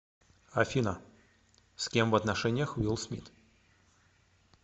афина с кем в отношениях уилл смит